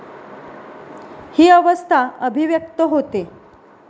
ही अवस्था अभिव्यक्त होते.